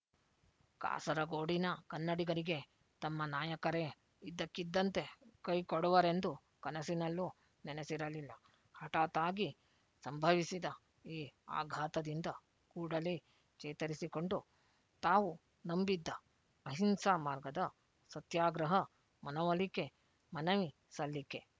ಕಾಸರಗೋಡಿನ ಕನ್ನಡಿಗರಿಗೆ ತಮ್ಮ ನಾಯಕರೆ ಇದ್ದಕ್ಕಿದ್ದಂತೆ ಕೈಕೊಡುವರೆಂದು ಕನಸಿನಲ್ಲೂ ನೆನೆಸಿರಲಿಲ್ಲ ಹಠಾತ್ ಆಗಿ ಸಂಭವಿಸಿದ ಈ ಆಘಾತದಿಂದ ಕೂಡಲೇ ಚೇತರಿಸಿಕೊಂಡು ತಾವು ನಂಬಿದ್ದ ಅಹಿಂಸಾಮಾರ್ಗದ ಸತ್ಯಾಗ್ರಹ ಮನವೊಲಿಕೆ ಮನವಿ ಸಲ್ಲಿಕೆ